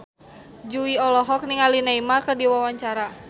Jui olohok ningali Neymar keur diwawancara